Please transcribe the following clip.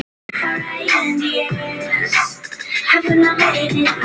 Það gerðist ekki.